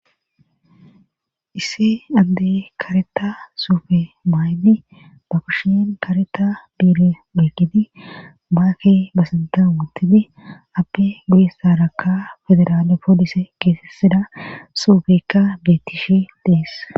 isse addey kareta suufe baaydi ba kushien kareta biire eykgidi baake basinta wuntidi appe gudissarakka federaale poolise keesesida suufekka bettishe dees